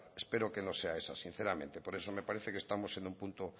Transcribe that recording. espero que no sea esa sinceramente por eso me parece que estamos en un punto